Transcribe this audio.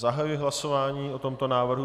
Zahajuji hlasování o tomto návrhu.